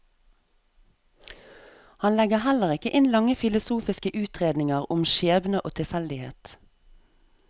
Han legger heller ikke inn lange filosofiske utredninger om skjebne og tilfeldighet.